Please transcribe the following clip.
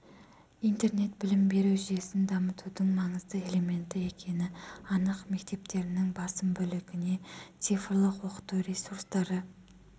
интернет білім беру жүйесін дамытудың маңызды элементі екені анық мектептерінің басым бөлігіне цифрлық оқыту ресурстары